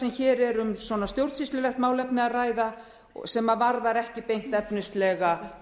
sem hér er um stjórnsýslulegt málefni að ræða sem varðar ekki beint efnislega